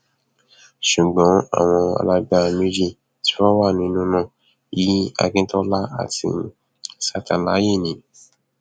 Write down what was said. ṣùgbọn àwọn alágbára méjì tí wọn wà nínú nna yìí akintola àti santalaye ni